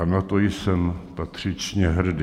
A na to jsem patřičně hrdý.